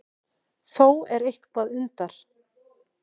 Þó er eitthvað undar